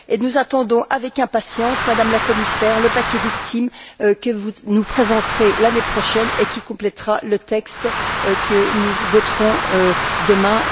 Nous attendons avec impatience, Madame la Commissaire, le paquet victimes que vous nous présenterez l'année prochaine et qui complétera le texte que nous voterons demain.